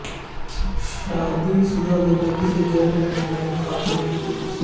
شادی شدہ زندگی سے غیر مطمئن خاتون کی خودکشی